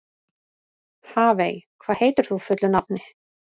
Hafey, hvað heitir þú fullu nafni?